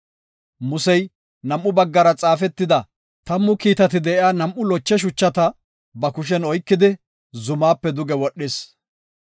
Musey nam7u baggara xaafetida, tammu kiitati de7iya nam7u loche shuchata ba kushen oykidi, zumaape duge wodhis.